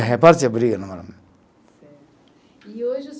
E reparte a briga. Certo. E hoje o